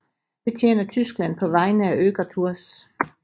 Det tjener Tyskland på vegne af Öger Tours